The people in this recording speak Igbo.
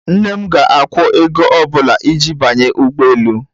Nne m ga-akwụ ego ọ bụla iji banye ụgbọ elu.